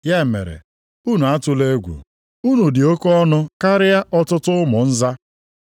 Ya mere, unu atụla egwu. Unu dị oke ọnụ karịa ọtụtụ ụmụ nza.